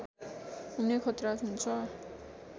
हुने खतरा हुन्छ